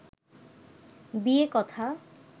বিয়ে কথা